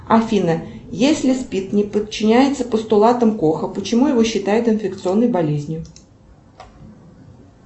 афина если спид не подчиняется постулатам коха почему его считают инфекционной болезнью